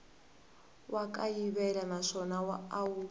wa kayivela naswona a wu